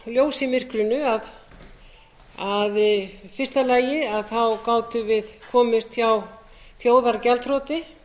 ljós i myrkrinu í fyrsta lagi að við gátum komist hjá þjóðargjaldþroti